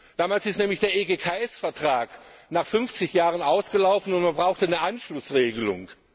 Damals ist nämlich der EGKS Vertrag nach 50 Jahren ausgelaufen und man brauchte eine Anschlussregelung.